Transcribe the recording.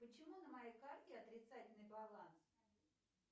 почему на моей карте отрицательный баланс